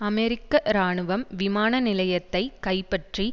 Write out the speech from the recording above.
அமெரிக்க இராணுவம் விமான நிலையத்தை கைப்பற்றி